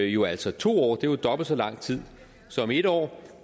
jo altså to år og det er dobbelt så lang tid som en år